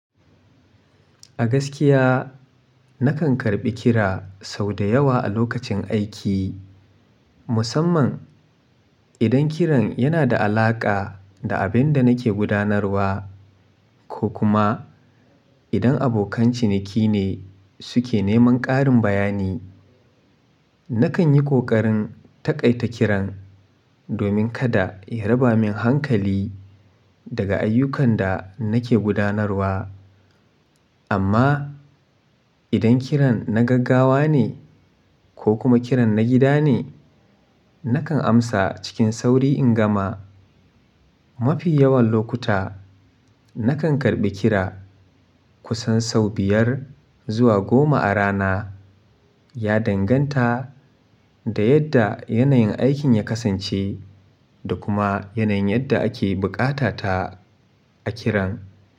A gaskiya, na kan karɓi kira sau da yawa a lokacin aiki, musamman idan kiran yana da alaƙa da abin da nake gudanarwa ko kuma idan abokan ciniki ne suke neman ƙarin bayani. Na kan yi ƙoƙarin taƙaita kiran domin kada ya raba min hankali daga ayyukan da nake gudanarwa. Amma idan kiran na gaggawa ne ko kuma kiran na gida ne, na kan amsa cikin sauri in gama. Mafi yawan lokuta, na kan karɓi kira kusan sau biyar zuwa goma a rana, ya danganta da yadda yanayin aikin ya kasance da kuma yanayin yadda ake buƙata ta a kiran.